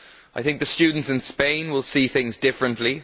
I think the students in Spain will see things differently.